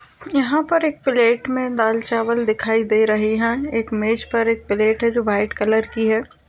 यहाँ पर एक प्लेट में दाल चावल दिखाई दे रहें हैं। एक मेज पर एक प्लेट है। जो व्हाइट कलर की है।